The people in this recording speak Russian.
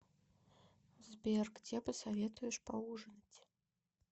сбер где посоветуешь поужинать